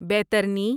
بیترنی